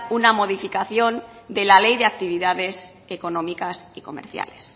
una modificación de la ley de actividades económicas y comerciales